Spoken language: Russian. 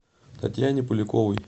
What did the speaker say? татьяне поляковой